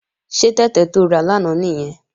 Ṣé tẹ̀tẹ̀ to rà lánàá nìyẹn?